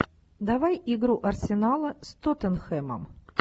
давай игру арсенала с тоттенхэмом